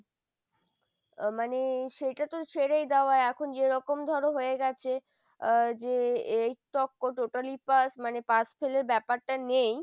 আহ মানে সেইটা তো ছেড়েই দেওয়া এখন যেরকম ধরো হয়ে গেছে আহ যে এই totally pass মানে pass fail র ব্যাপারটা নেই,